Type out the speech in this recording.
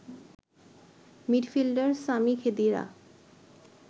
midfielder Sami Khedira